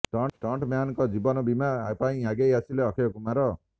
stunt ମ୍ୟାନଙ୍କ ଜୀବନ ବୀମା ପାଇଁ ଆଗେଇ ଆସିଲେ ଅକ୍ଷୟ କୁମାର